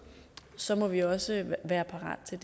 så må vi også være parate til